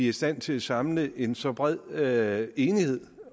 i stand til at samle en så bred enighed